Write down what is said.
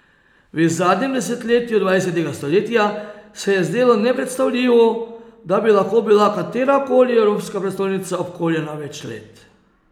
V zadnjem desetletju dvajsetega stoletja se je zdelo nepredstavljivo, da bi lahko bila katera koli evropska prestolnica obkoljena več let.